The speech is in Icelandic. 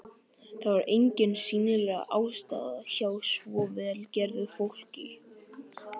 Það var engin sýnileg ástæða hjá svo vel gerðu fólki.